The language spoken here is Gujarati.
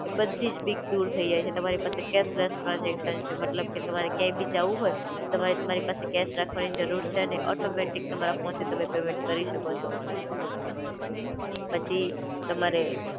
એ બધીજ બીક દૂર થઇ જાય છે તમારી પાસે કેશલેસ ટ્રાન્સઝેકશન છે મતલબ કે તમારે ક્યાંય બી જાવું હોય તમારે તમારી પાસે કેશ રાખવાની જરૂર છે નઈ, ઑટોમૅટિક તમારા ફોનથી તમે પેમેન્ટ કરી શકો છો. પછી તમારે